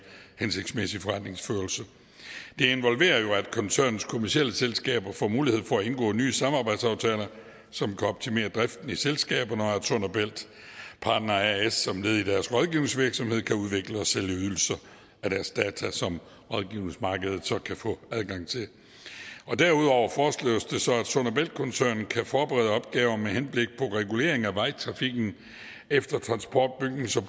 hensigtsmæssig forretningsførelse det involverer jo at koncernens kommercielle selskaber får mulighed for at indgå nye samarbejdsaftaler som kan optimere driften i selskaberne og at sund og bælt partner as som led i deres rådgivningsvirksomhed kan udvikle og sælge ydelser af deres data som rådgivningsmarkedet så kan få adgang til derudover foreslås det så at sund og bælt koncernen kan forberede opgaver med henblik på regulering af vejtrafikken efter transport bygnings